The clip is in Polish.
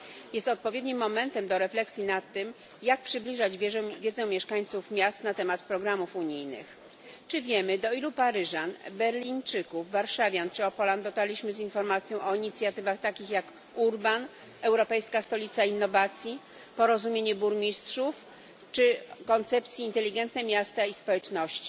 Jest odpowiednim momentem do refleksji nad tym, jak przybliżać wiedzę mieszkańców miast na temat programów unijnych. Czy wiemy, do ilu paryżan, berlińczyków, warszawiaków czy opolan dotarliśmy z informacją o inicjatywach takich jak URBAN, Europejska Stolica Innowacji, Porozumienie Burmistrzów czy koncepcja Inteligentne miasta i społeczności?